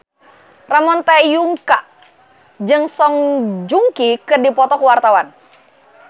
Ramon T. Yungka jeung Song Joong Ki keur dipoto ku wartawan